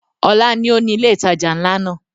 Ọlá ni ó ni ilé ìtajà nla náà.